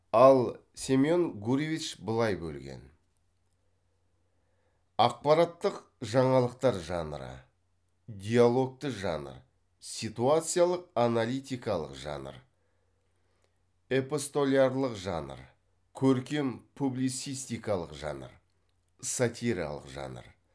ал семен гуревич былай бөлген ақпараттық жаңалықтар жанры диалогты жанр ситуациялық аналитикалық жанр эпостолярлық жанр көркем публицистикалық жанр сатиралық жанр